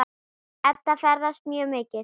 Edda ferðast mikið.